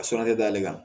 A sɔrɔlen t'ale kan